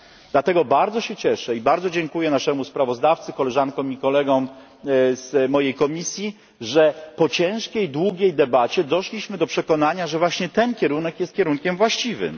Dlatego bardzo się cieszę i bardzo dziękuję naszemu sprawozdawcy, koleżankom i kolegom z mojej komisji, że po ciężkiej i długiej debacie doszliśmy do przekonania, że właśnie ten kierunek jest kierunkiem właściwym.